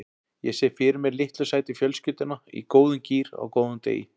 Ég sé fyrir mér litlu sætu fjölskylduna í góðum gír á góðum degi.